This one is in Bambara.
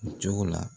Cogo la